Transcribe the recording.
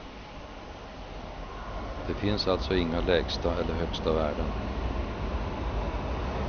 Det finns alltså inga lägsta eller högsta värden.